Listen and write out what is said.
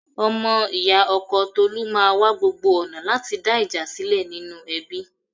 Ọmọ ì̀yá ọkọ Tolu máa wa gbogbo ọ̀nà láti dá ìjà sílẹ̀ nínú ẹbí.